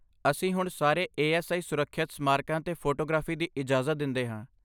ਅਸੀਂ ਹੁਣ ਸਾਰੇ ਏ.ਐਸ.ਆਈ. ਸੁਰੱਖਿਅਤ ਸਮਾਰਕਾਂ 'ਤੇ ਫੋਟੋਗ੍ਰਾਫੀ ਦੀ ਇਜਾਜ਼ਤ ਦਿੰਦੇ ਹਾਂ।